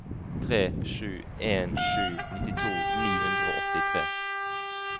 tre sju en sju nittito ni hundre og åttitre